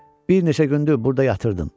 Bir neçə gündür burda yatırdım.